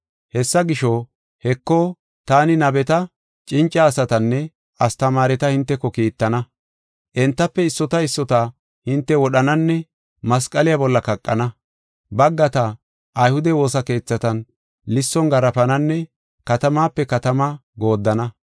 Hessa gisho, heko, taani nabeta, cinca asatanne astamaareta hinteko kiittana. Entafe issota issota hinte wodhananne masqala bolla kaqana. Baggata ayhude woosa keethatan lisson garaafananne katamaape katama gooddana.